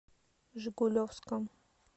жигулевском